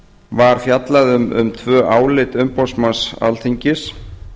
var fjallað um tvö álit umboðsmanns alþingis